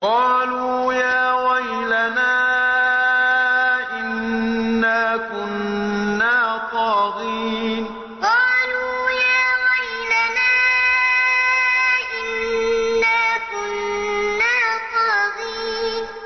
قَالُوا يَا وَيْلَنَا إِنَّا كُنَّا طَاغِينَ قَالُوا يَا وَيْلَنَا إِنَّا كُنَّا طَاغِينَ